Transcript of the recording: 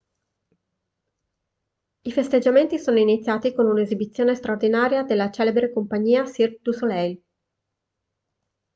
i festeggiamenti sono iniziati con un'esibizione straordinaria della celebre compagnia cirque du soleil